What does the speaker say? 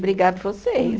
Obrigado vocês.